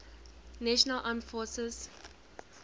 national armed forces